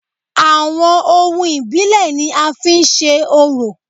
Àwọn ohun ìbílẹ̀ ni a fi ń se orò